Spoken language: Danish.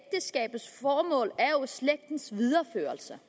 slægtens videreførelse